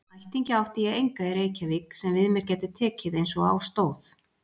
Ættingja átti ég enga í Reykjavík sem við mér gætu tekið einsog á stóð.